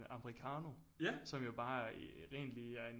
Americano som jo bare egentlig er en